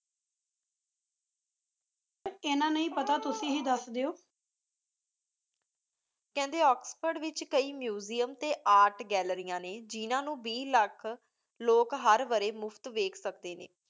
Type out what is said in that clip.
ਇਨਾ ਨਹੀ ਪਤਾ ਤੁਸੀਂ ਹੇ ਦਸ ਦੋ ਕੇਹੰਡੀ ਓਕ੍ਸ੍ਫੋਰਡ ਵਿਚ ਕਾਯੀ museum ਟੀ art ਗਾਲ੍ਲੇਰਿਯਾਂ ਨੀ ਜਿਨਾ ਨੂ ਬੀਸ ਲਖ ਲੋਕ ਹਰ ਵਾਰੀ ਮੁਫਤ ਦੇਖ ਸਕਦੇ ਨੀ